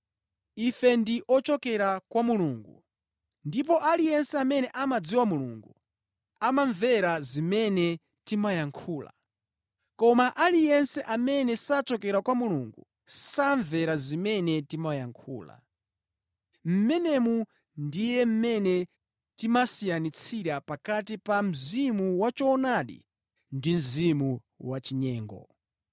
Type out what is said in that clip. Ife ndi ochokera kwa Mulungu, ndipo aliyense amene amadziwa Mulungu amamvera zimene timayankhula. Koma aliyense amene sachokera kwa Mulungu samvera zimene timayankhula. Mmenemu ndiye mmene timasiyanitsira pakati pa mzimu wachoonadi ndi Mzimu wachinyengo.